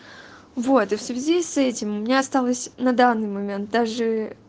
вот и в связи с этим у меня осталось на данный момент даже